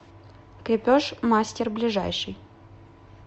крепеж мастер ближайший